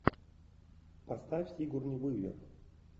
поставь сигурни уивер